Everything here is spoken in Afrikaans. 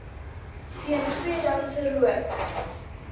teen tweedehandse rook